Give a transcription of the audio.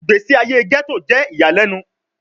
Igbesi aye Ghetto jẹ iyalẹnu